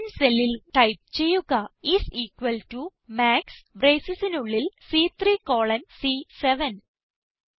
C10 സെല്ലിൽ type ചെയ്യുക is equal to max bracesനുള്ളിൽ സി3 കോളൻ സി7